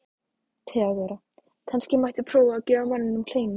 THEODÓRA: Kannski mætti prófa að gefa manninum kleinu?